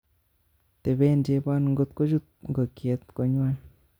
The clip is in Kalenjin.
Teben chebon ng'ot kochut ng'okyet konywan